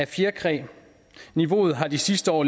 fjerkræ niveauet har de sidste år